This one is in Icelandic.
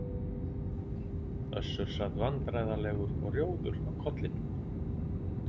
Össur sat vandræðalegur og rjóður á kollinum.